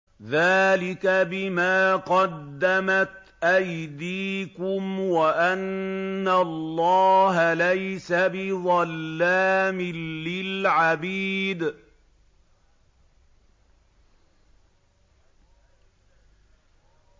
ذَٰلِكَ بِمَا قَدَّمَتْ أَيْدِيكُمْ وَأَنَّ اللَّهَ لَيْسَ بِظَلَّامٍ لِّلْعَبِيدِ